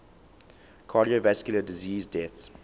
cardiovascular disease deaths